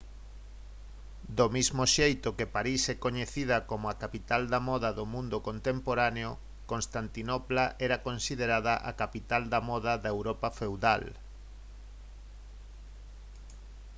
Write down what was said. do mesmo xeito que parís é coñecida como a capital da moda do mundo contemporáneo constantinopla era considerada a capital da moda da europa feudal